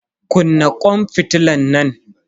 Kunna kwan fitilan nan.